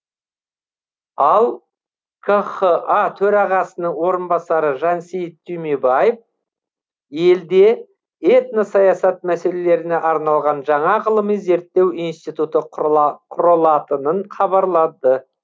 ал қха төрағасының орынбасары жансейіт түймебаев елде этносаясат мәселелеріне арналған жаңа ғылыми зерттеу институты құрылатынын хабарлады